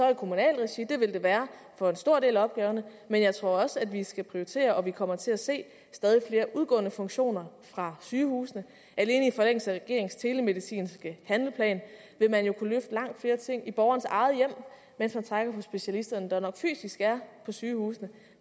i kommunalt regi det vil det være for en stor del af opgaverne men jeg tror også at vi skal prioritere og at vi kommer til at se stadig flere udgående funktioner fra sygehusene alene i forlængelse af regeringens telemedicinske handleplan vil man jo kunne løfte langt flere ting i borgerens eget hjem mens man trækker på specialisterne der nok fysisk er på sygehusene